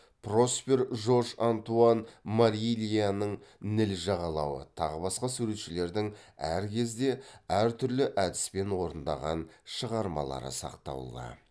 проспер жорж антуан марильяның ніл жағалауы тағы басқа суретшілердің әр кезде әр түрлі әдіспен орындаған шығармалары сақтаулы